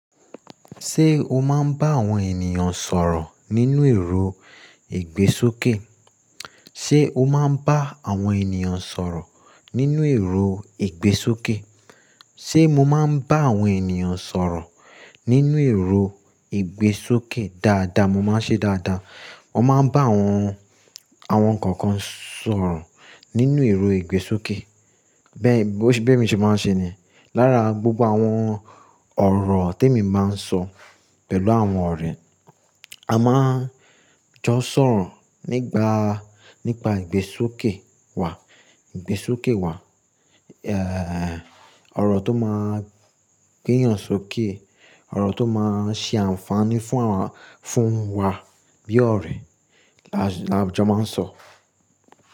Ṣé o máa ń bá àwọn ènìyàn sọ̀rọ̀ nínú èrò ìgbésókè? Sé o máa ń bá àwọn ènìyàn sọ̀rọ̀ nínú èrò ìgbésókè? Sé mo máa ń bá àwọn ènìyàn sọ̀rọ̀ nínú èrò ìgbésókè dáadáa, mo máa ń ṣe dáadáa. Mo máa ń bá àwọn, àwọn kankan sọ̀rọ̀ nínú èrò ìgbésókè. Bẹ́ẹ̀, bẹ́ẹ̀ mi ṣe máa ń ṣe ni. Lára gbogbo àwọn ọ̀rọ̀ tèmi máa ń sọ pẹ̀lú àwọn ọ̀rẹ́, a máa ń jọ sọ̀rọ̀ nígbà, nípa ìgbésókè wa, ìgbésókè wa, ọ̀rọ̀ tó máa ń gbéyàn sókè, ọ̀rọ̀ tó máa ń ṣe ànfààní fún wa, fún wa bí ọ̀rẹ́ la jọ máa ń sọ.